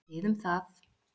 Þið um það!